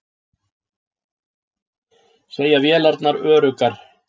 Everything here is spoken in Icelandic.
Segja vélarnar öruggar